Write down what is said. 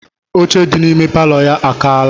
Oche dị n'ime palọ ya akaala.